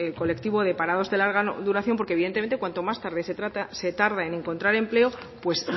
colectivo de parados de larga duración porque evidentemente cuanto más se tarda en encontrar empleo pues